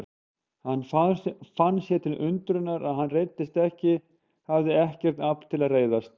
Hann fann sér til undrunar að hann reiddist ekki, hafði ekkert afl til að reiðast.